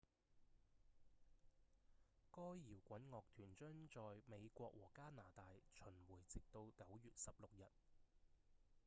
該搖滾樂團將在美國和加拿大巡迴直到9月16日